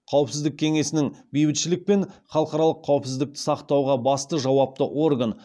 қауіпсіздік кеңесінің бейбітшілік пен халықаралық қауіпсіздікті сақтауға басты жауапты орган